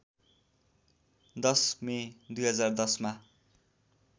१० May २०१० मा